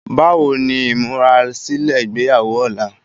Bá wo ni ìmúrasílè ìgbéyàwó ọ̀la